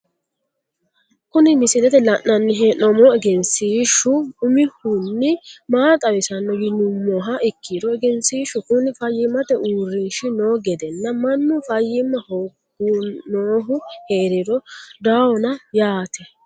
Kuni misilete la`nani heenomohu egenshiishu umihuni maa xawisano yinumoha ikiro egenshiishu kuni fayimmate uurinshi noo gedenna manu fayima hooginohu heeriri dawona yaate.